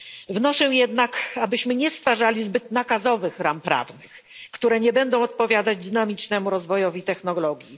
Wnoszę jednak, abyśmy nie stwarzali zbyt nakazowych ram prawnych, które nie będą odpowiadać dynamicznemu rozwojowi technologii.